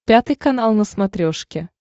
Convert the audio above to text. пятый канал на смотрешке